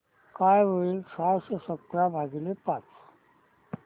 काय होईल सहाशे सतरा भागीले पाच